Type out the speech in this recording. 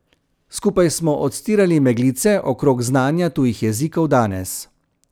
Skupaj smo odstirali meglice okrog znanja tujih jezikov danes.